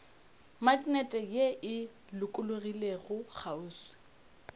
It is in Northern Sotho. maknete ye e lokologilego kgauswi